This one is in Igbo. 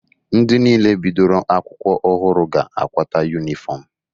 Ndị niile bidoro akwụkwọ ọhụrụ ga-akwata yunifọmụ.